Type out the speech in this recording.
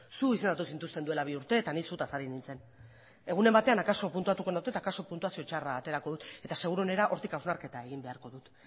zu izendatu zintuzten duela bi urte eta ni zutaz ari nintzen egunen batean akaso puntuatuko nuke eta akaso puntuazio txarra aterako dut eta seguruenera hortik hausnarketa egin behar dut